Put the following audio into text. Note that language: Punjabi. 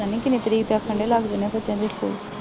ਪਤਾ ਨਹੀਂ ਕਿੰਨੀ ਤਰੀਕ ਤੱਕ ਕਹਿੰਦੇ ਲੱਗ ਜਾਣੇ ਬੱਚਿਆਂ ਦੇ ਸਕੂਲ